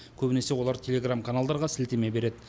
көбінесе олар телеграм каналдарға сілтеме береді